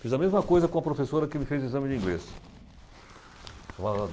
Fiz a mesma coisa com a professora que me fez o exame de inglês. Falava